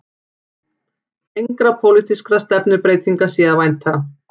Engra pólitískra stefnubreytinga sé að vænta